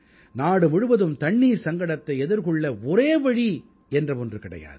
நாடு முழுவதும் தண்ணீர் சங்கடத்தை எதிர்கொள்ள ஒரே வழி என்ற ஒன்று கிடையாது